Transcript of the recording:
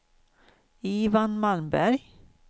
Ivan Malmberg